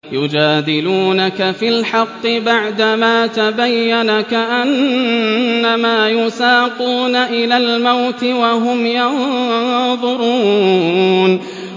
يُجَادِلُونَكَ فِي الْحَقِّ بَعْدَمَا تَبَيَّنَ كَأَنَّمَا يُسَاقُونَ إِلَى الْمَوْتِ وَهُمْ يَنظُرُونَ